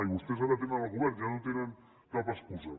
i vostès ara tenen el govern ja no tenen cap excusa